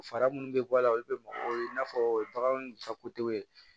Fɛɛrɛ minnu bɛ bɔ a la olu bɛ mɔgɔw ye i n'a fɔ bagantigɛw ye